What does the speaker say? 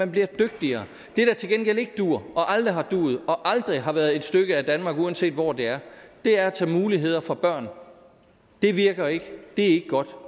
bliver dygtigere det der til gengæld ikke duer og aldrig har duet og aldrig har været et stykke af danmark uanset hvor det er er at tage muligheder fra børn det virker ikke det er ikke godt